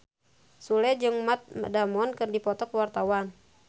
Sule jeung Matt Damon keur dipoto ku wartawan